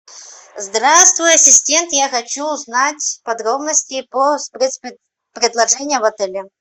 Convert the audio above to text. здравствуй ассистент я хочу узнать подробности по спецпредложениям в отеле